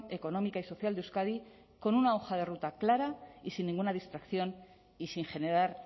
económica y social de euskadi con una hoja de ruta clara y sin ninguna distracción y sin generar